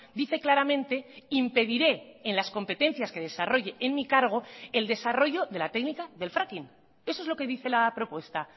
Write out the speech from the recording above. dice claramente impediré en las competencias que desarrolle en mi cargo el desarrollo de la técnica del fracking eso es lo que dice la propuesta